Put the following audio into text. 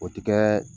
O ti kɛ